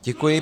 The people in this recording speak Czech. Děkuji.